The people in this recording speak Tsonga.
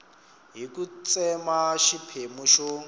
hi ku tsema xiphemu xo